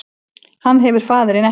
Hann hefur faðirinn ekki